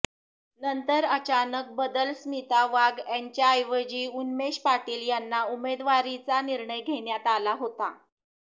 नंतर अचानक बदल स्मिता वाघ यांच्याऐवजी उन्मेश पाटील यांना उमेदवारीचा निर्णय घेण्यात आला होता